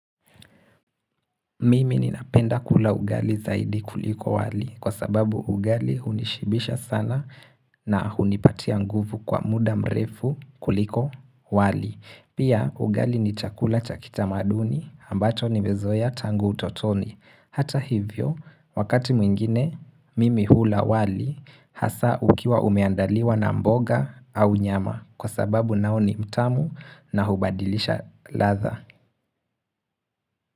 Mimi ninapenda kula ugali zaidi kuliko wali kwa sababu ugali hunishibisha sana na hunipatia nguvu kwa muda mrefu kuliko wali. Pia ugali ni chakula cha kitamaduni ambacho nimezoea tangu utotoni. Hata hivyo wakati mwingine mimi hula wali hasa ukiwa umeandaliwa na mboga au nyama kwa sababu nao ni mtamu na hubadilisha ladha.